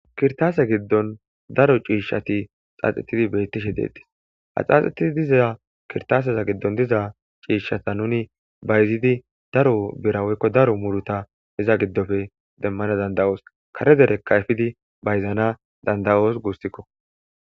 Kirtaase giddon daro ciishshati xaaxetidi beettishe deedis ha xaaxetidi diza kirtaasaza giddon diza ciishshata nuni bayzidi daro birawoykko daro muruta hiza giddofe demmana danda'oos kare derekka yfidi bayzaana dandayoos guussikko.